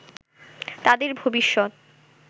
তাদের ভবিষ্যৎ